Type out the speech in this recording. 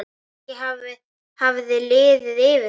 Kannski hafði liðið yfir hana.